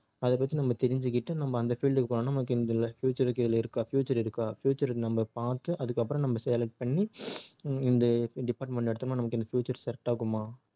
அத பத்தி நம்ம தெரிஞ்சுக்கிட்டு நம்ம அந்த field க்கு போனா நமக்கு இதுல future இதுல இருக்கா future இருக்கா future நம்ம பார்த்து அதுக்கப்புறம் நம்ம select பண்ணி இந்த department எடுத்தோம்னா நமக்கு இந்த future correct ஆகுமா